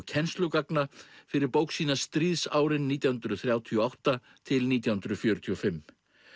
kennslugagna fyrir bók sína stríðsárin nítján hundruð þrjátíu og átta til nítján hundruð fjörutíu og fimm